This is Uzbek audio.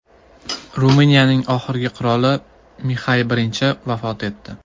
Ruminiyaning oxirgi qiroli Mixay I vafot etdi.